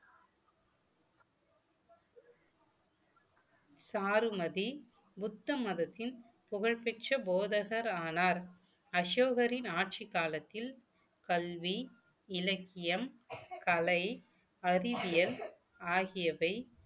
சாருமதி புத்த மதத்தின் புகழ்பெற்ற போதகர் ஆனார் அசோகரின் ஆட்சிக் காலத்தில் கல்வி இலக்கியம் கலை அறிவியல் ஆகியவை